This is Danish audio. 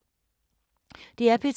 DR P3